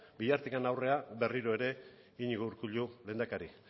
bihartik aurrera berriro ere iñigo urkullu lehendakari